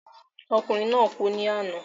Ọkùnrin naa kú ní àná